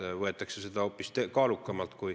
Seal võetakse seda hoopis kaalukamalt.